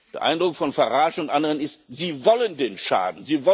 Der Eindruck von Farage und anderen ist Sie wollen den Schaden!